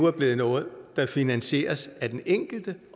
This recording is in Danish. er blevet noget der finansieres af den enkelte